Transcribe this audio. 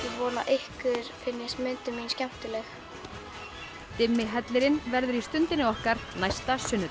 vona að ykkur finnist myndin mín skemmtileg dimmi hellirinn verður í Stundinni okkar næsta sunnudag